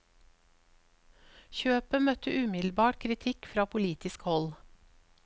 Kjøpet møtte umiddelbart kritikk fra politisk hold.